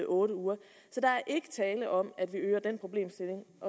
otte uger så der er ikke tale om at vi øger den problemstilling